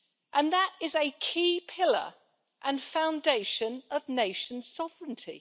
and that is a key pillar and foundation of nation sovereignty.